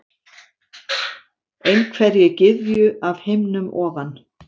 Einhverri gyðju af himnum ofan?